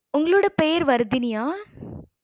உங்களோட பேர் வர்தினியா?